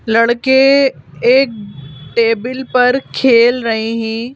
लड़के एक टेबल पर खेल रऐ हैं।